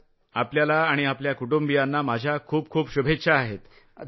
आपल्याला आणि आपल्या कुटुंबियांना माझ्या खूप शुभेच्छा आहेत।